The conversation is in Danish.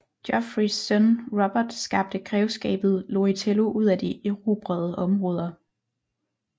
Geoffreys søn Robert skabte grevskabet Loritello ud af de erobrede områder